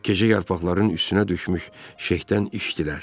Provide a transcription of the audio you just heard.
Gecə yarpaqların üstünə düşmüş şehdən içdilər.